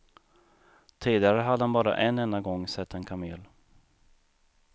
Tidigare hade han bara en enda gång sett en kamel.